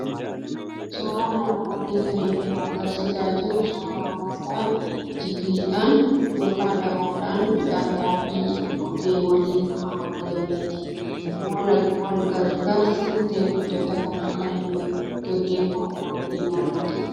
Suuraan armaan olii kan inni nu argisiisaa jiru suuraa namoota jigiidhaan yookiin daboodhaan midhaan xaafii goge waliif haamaa jiraniiti. Wal gargaarsi qotee bultoota kanaa kan inni gaggeeffamu waqtii bonaatti dha.